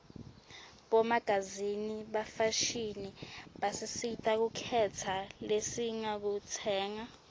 bomagazini bafashini basisita kukhetsa lesingakutsenga